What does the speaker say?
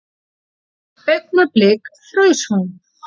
Augnablik fraus hún.